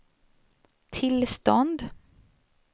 tillstånd